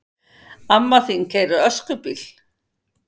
Amma þín keyrir öskubíl!